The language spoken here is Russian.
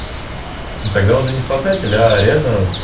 ну тогда уже не спасателя а реально